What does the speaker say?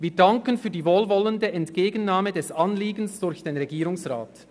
Wir danken für die wohlwollende Entgegennahme des Anliegens durch den Regierungsrat.